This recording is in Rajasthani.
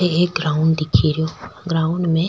एक ग्राउंड दिख रो ग्राउंड में --